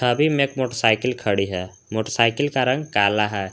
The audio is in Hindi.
अभी में एक मोटरसाइकिल खड़ी है मोटरसाइकिल का रंग काला है।